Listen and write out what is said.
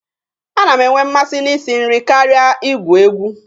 A na m enwe mmasị na ị si nri karịa i gwu egwu.